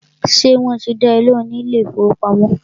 Ṣé wọ́n ti dá ẹ lóhùn ní ilé ìfọwọ́pamo?